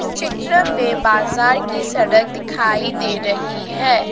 चित्र में बाजार की सड़क दिखाई दे रही है।